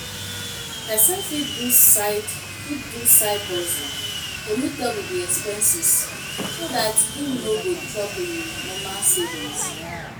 Person fit do side fit do side hustle to meet up with the expenses so dat im no go chop im normal savings